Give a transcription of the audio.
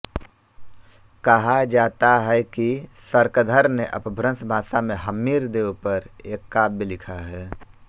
कहा जाता है कि शार्ङ्गधर ने अपभ्रंश भाषा में हम्मीरदेव पर एक काव्य लिखा है